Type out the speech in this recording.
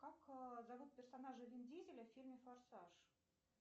как зовут персонажа вин дизеля в фильме форсаж